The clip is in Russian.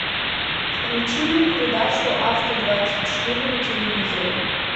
включи мне передачу авто двадцать четыре на телевизоре